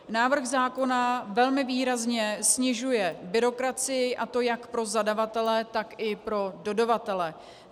Návrh zákona velmi výrazně snižuje byrokracii, a to jak pro zadavatele, tak i pro dodavatele.